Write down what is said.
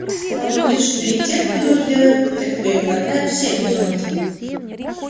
он говорит что и те кто дурь делает и те кто её глотает все безумцы